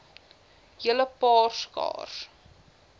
hele paar skaars